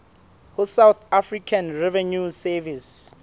ho south african revenue service